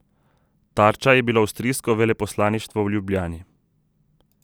Tarča je bilo avstrijsko veleposlaništvo v Ljubljani.